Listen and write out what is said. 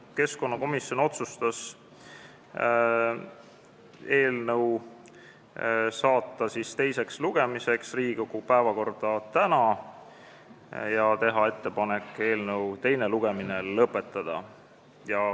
Keskkonnakomisjon otsustas saata eelnõu teiseks lugemiseks Riigikogu päevakorda tänaseks ja teha ettepaneku eelnõu teine lugemine lõpetada.